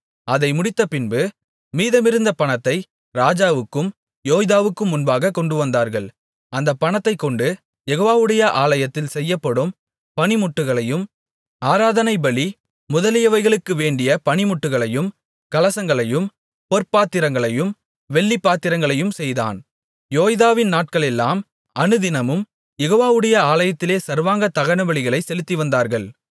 அதை முடித்தபின்பு மீதமிருந்த பணத்தை ராஜாவுக்கும் யோய்தாவுக்கும் முன்பாகக் கொண்டுவந்தார்கள் அந்தப் பணத்தைக் கொண்டு யெகோவாவுடைய ஆலயத்தில் செய்யப்படும் பணிமுட்டுகளையும் ஆராதனை பலி முதலியவைகளுக்கு வேண்டிய பணிமுட்டுகளையும் கலசங்களையும் பொற்பாத்திரங்களையும் வெள்ளிப்பாத்திரங்களையும் செய்தான் யோய்தாவின் நாட்களெல்லாம் அனுதினமும் யெகோவாவுடைய ஆலயத்திலே சர்வாங்க தகனபலிகளைச் செலுத்திவந்தார்கள்